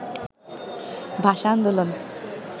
ভাষা আন্দোলন